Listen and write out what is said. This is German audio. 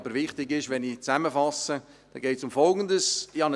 Aber wenn ich zusammenfasse, ist Folgendes wichtig: